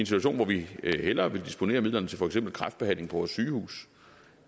situation hvor vi hellere vil disponere midlerne til for eksempel kræftbehandling på vores sygehuse